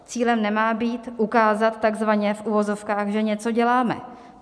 Cílem nemá být ukázat takzvaně v uvozovkách, že něco děláme.